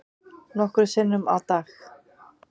Nokkrum sinnum á dag.